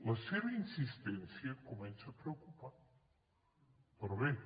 la seva insistència comença a preocupar però bé